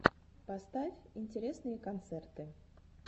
поставь интересные концерты